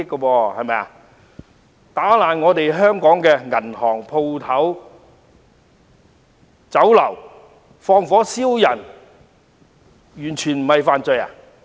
他們毀壞香港的銀行、店鋪和酒樓，又縱火傷人，這些不是罪行嗎？